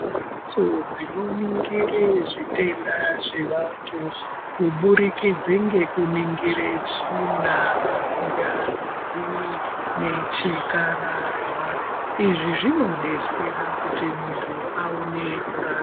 Mhatso dzinoningire zvitenda zvevantu kubudikidze ngekuningire tsvina , ngazi nechikararwa, izvi zvinodetsera kuti muntu aone kurapwa.